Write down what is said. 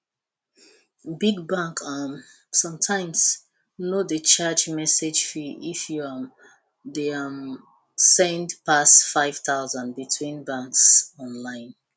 big bank um sometimes no dey charge message fee if you um dey um send pass five thousand between banks online